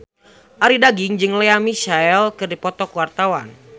Arie Daginks jeung Lea Michele keur dipoto ku wartawan